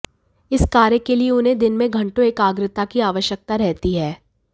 इस कार्य के लिए उन्हें दिन में घंटों एकाग्रता की आवश्यकता रहती है